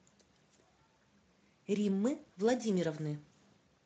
риммы владимировны